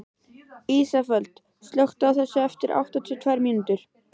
Ísafold, slökktu á þessu eftir áttatíu og tvær mínútur.